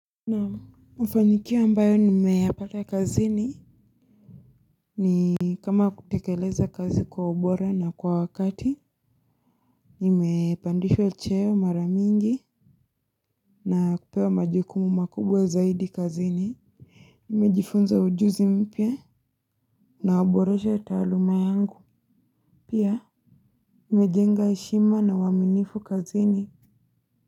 Naam. Mafanikio ambayo nimeyapata kazini. Ni kama kutekeleza kazi kwa ubora na kwa wakati, nimepandishwa cheo mara mingi na kupewa majukumu makubwa zaidi kazini. Nimejifunza ujuzi mpya na uboreshe taaluma yangu. Pia nimejenga heshima na uaminifu kazini.